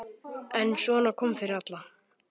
En svona kom fyrir alla.